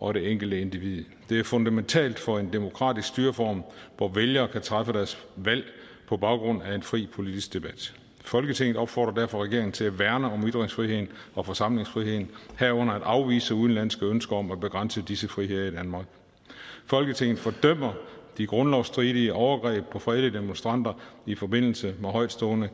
og det enkelte individ de er fundamentale for en demokratisk styreform hvor vælgere kan træffe deres valg på baggrund af en fri politisk debat folketinget opfordrer derfor regeringen til at værne om ytringsfriheden og forsamlingsfriheden herunder at afvise udenlandske ønsker om at begrænse disse friheder i danmark folketinget fordømmer de grundlovsstridige overgreb på fredelige demonstranter i forbindelse med højtstående